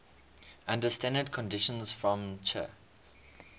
under standard conditions from ch